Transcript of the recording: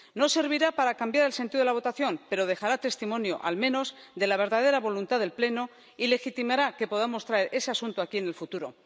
No servirá para cambiar el sentido de la votación, pero dejará testimonio, al menos, de la verdadera voluntad del Pleno y legitimará que podamos traer ese asunto aquí en el futuro.